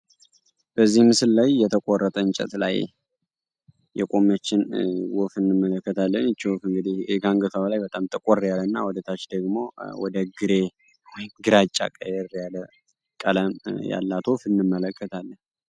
በዚህ ምስል ላይ የተቆረጠ እንጨት ላይ የቆመችን ወፍ እንመለከታለን። ይች ወፍ እንግዲህ ከአንገቷ በላይ በጣም ጠቆር ያለ እና ወደታች ደግሞ ግራጫ ቀለም ያላት ወፍ እንመለከታለን።